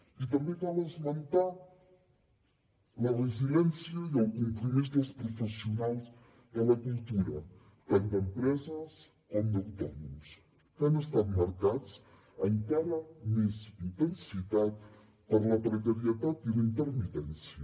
i també cal esmentar la resiliència i el compromís dels professionals de la cultura tant d’empreses com d’autònoms que han estat marcats encara amb més intensitat per la precarietat i la intermitència